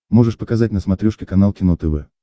можешь показать на смотрешке канал кино тв